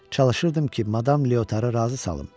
Çalışırdım ki, Madam Leotarı razı salım.